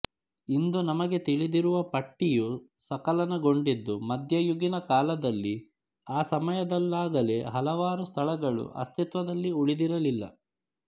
ಇಂದು ನಮಗೆ ತಿಳಿದಿರುವ ಪಟ್ಟಿಯು ಸಕಲನಗೊಂಡಿದ್ದು ಮಧ್ಯ ಯುಗೀನ ಕಾಲದಲ್ಲಿ ಆ ಸಮಯದಲ್ಲಾಗಲೇ ಹಲವಾರು ಸ್ಥಳಗಳು ಅಸ್ತಿತ್ವದಲ್ಲಿ ಉಳಿದಿರಲಿಲ್ಲ